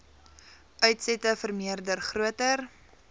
uitsette vermeerder groter